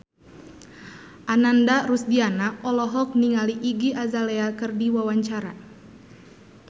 Ananda Rusdiana olohok ningali Iggy Azalea keur diwawancara